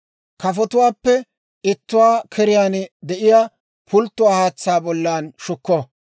Kafotuwaappe ittuwaa keriyaan de'iyaa pulttuwaa haatsaa bollan shukko.